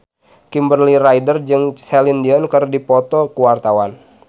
Kimberly Ryder jeung Celine Dion keur dipoto ku wartawan